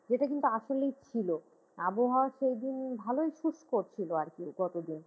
যেটা কিন্তু আসলেই ছিল আবহাওয়া সেই দিন ভালই শুষ্ক ছিল আর কি গতদিন।